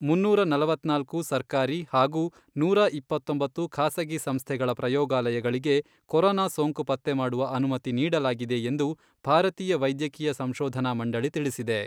ಮುನ್ನೂರ ನಲವತ್ನಾಲ್ಕು ಸರ್ಕಾರಿ ಹಾಗೂ ನೂರಾ ಇಪ್ಪತ್ತೊಂಬತ್ತು ಖಾಸಗಿ ಸಂಸ್ಥೆಗಳ ಪ್ರಯೋಗಾಲಯಗಳಿಗೆ ಕೊರೊನಾ ಸೋಂಕು ಪತ್ತೆ ಮಾಡುವ ಅನುಮತಿ ನೀಡಲಾಗಿದೆ ಎಂದು ಭಾರತೀಯ ವೈದ್ಯಕೀಯ ಸಂಶೋಧನಾ ಮಂಡಳಿ ತಿಳಿಸಿದೆ.